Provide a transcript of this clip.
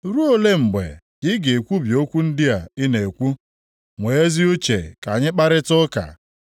“Ruo ole mgbe ka ị ga-ekwubi okwu ndị a ị na-ekwu? Nwee ezi uche ka anyị kparịtaa ụka.